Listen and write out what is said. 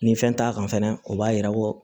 Ni fɛn t'a kan fɛnɛ o b'a yira ko